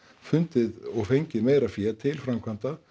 fundið og fengið meira fé til framkvæmda